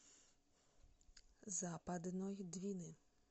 западной двины